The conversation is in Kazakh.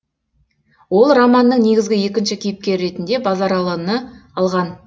ол романның негізгі екінші кейіпкері ретінде базаралыны алған